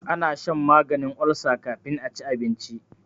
ana shan maganin ulsa kafin a ci abinci